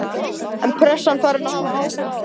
Er pressan farin að hafa áhrif á þá?